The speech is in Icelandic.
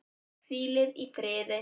Hvílið í friði.